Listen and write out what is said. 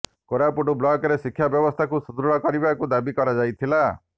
କୋରାପୁଟ ବ୍ଲକରେ ଶିକ୍ଷା ବ୍ୟବସ୍ଥାକୁ ସୁଦୃଢ କରିବାକୁ ଦାବି କରାଯାଇଥିଲା